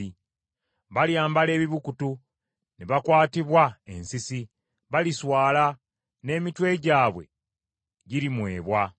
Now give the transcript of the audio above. Balyambala ebibukutu, ne bakwatibwa ensisi; baliswala, n’emitwe gyabwe girimwebwa.